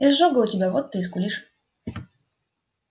изжога у тебя вот ты и скулишь